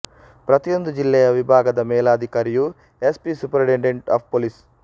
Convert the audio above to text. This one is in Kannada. ಪ್ರತಿಯೊಂದು ಜಿಲ್ಲೆಯ ವಿಭಾಗದ ಮೇಲಾಧಿಕಾರಿಯೂ S P superintendent of police